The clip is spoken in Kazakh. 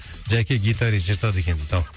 жәке гитарист жыртады екен дейді ал